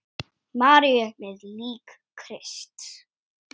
Maríu með lík Krists.